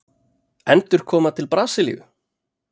Endurkoma til Brasilíu?